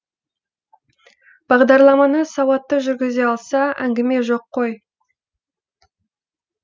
бағдарламаны сауатты жүргізе алса әңгіме жоқ қой